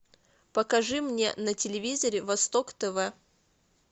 покажи мне на телевизоре восток тв